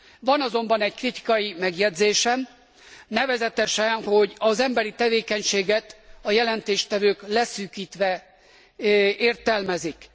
Van azonban egy kritikai megjegyzésem, nevezetesen, hogy az emberi tevékenységet a jelentéstevők leszűkítve értelmezik.